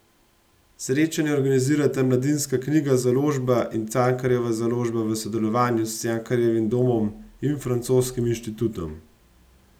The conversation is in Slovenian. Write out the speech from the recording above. Srečanje organizirata Mladinska knjiga Založba in Cankarjeva založba v sodelovanju s Cankarjevim domom in Francoskim inštitutom.